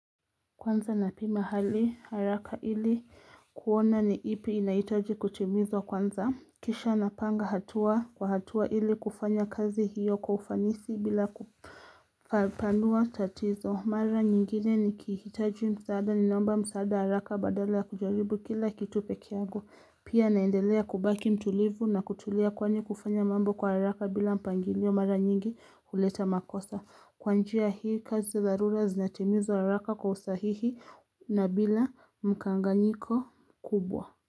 Kwanza na pima hali haraka ili kuona ni ipi inahitaji kutimizwa kwanza. Kisha napanga hatua kwa hatua ili kufanya kazi hiyo kwa ufanisi bila kupaanua tatizo mara nyingine nikihitaji msaada ninaomba msaada haraka badala ya kujaribu kila kitu peke yangu. Pia naendelea kubaki mtulivu na kutulea kwani kufanya mambo kwa haraka bila mpangilio mara nyingi kuleta makosa. Kwa njia hii kazi za dharura zinatimizwa haraka kwa usahihi. Na bila mkanganyiko kubwa.